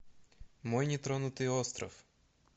мой нетронутый остров